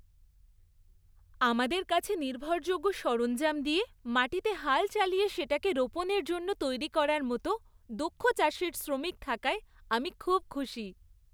আমাদের কাছে নির্ভরযোগ্য সরঞ্জাম দিয়ে মাটিতে হাল চালিয়ে সেটাকে রোপণের জন্য তৈরি করার মতো দক্ষ চাষের শ্রমিক থাকায় আমি খুব খুশি।